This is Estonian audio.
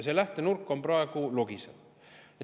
See lähtenurk praegu logiseb.